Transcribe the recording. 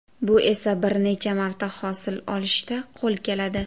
Bu esa bir necha marta hosil olishda qo‘l keladi.